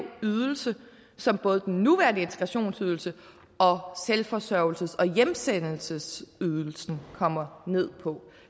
ydelse som både den nuværende integrationsydelse og selvforsørgelses og hjemsendelsesydelsen kommer ned på